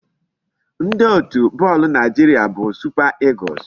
Ndị otu bọọlụ Naịjiria bụ Super Eagles.